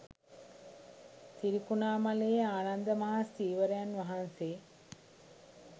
තිරිකුණාමලයේ ආනන්ද මහා ස්ථවිරයන් වහන්සේ